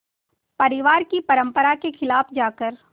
परिवार की परंपरा के ख़िलाफ़ जाकर